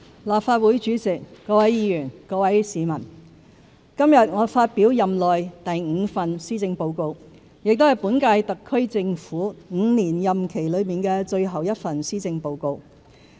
立法會主席、各位議員、各位市民：今天我發表任內第五份施政報告，也是本屆香港特別行政區政府5年任期內的最後一份施政報告。